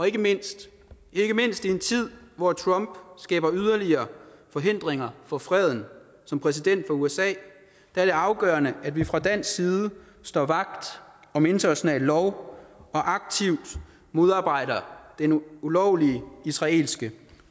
ikke mindst i en tid hvor trump skaber yderligere forhindringer for freden som præsident for usa er det afgørende at vi fra dansk side står vagt om international lov og aktivt modarbejder den ulovlige israelske